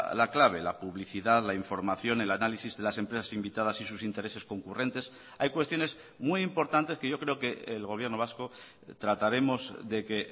la clave la publicidad la información el análisis de las empresas invitadas y sus intereses concurrentes hay cuestiones muy importantes que yo creo que el gobierno vasco trataremos de que